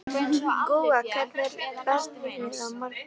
Gúa, hvernig er veðrið á morgun?